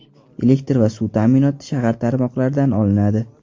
Elektr va suv ta’minoti shahar tarmoqlaridan olinadi.